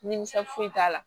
Nimisiwasi t'a la